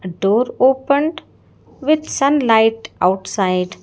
door opened with sunlight outside.